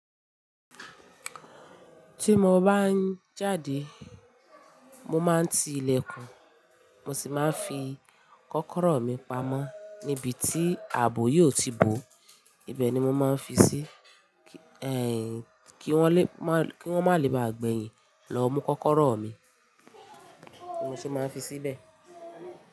Tí mo bá ń jáde, mo máa ń ti ilẹ̀kùn, mo sì máa ń fi kọ́kọ́rọ́ mi pamọ́ níbi tí ààbò yóò ti bò, ó ibẹ̀ ni mo máa ń fi sí, ẹ́ n, kí wọ́n lè, kí wọ́n má lè ba gbẹ̀yin lọ mú kọ́kọ́rọ́ mi, mo sì máa ń fi síbẹ̀